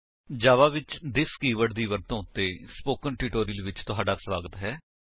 ਜਾਵਾ ਵਿੱਚ this keyword ਦੀ ਵਰਤੋ ਉੱਤੇ ਸਪੋਕਨ ਟਿਊਟੋਰਿਅਲ ਵਿੱਚ ਤੁਹਾਡਾ ਸਵਾਗਤ ਹੈ